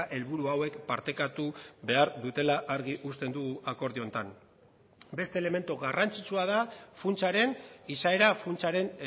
helburu hauek partekatu behar dutela argi uzten dugu akordio honetan beste elementu garrantzitsua da funtsaren izaera funtsaren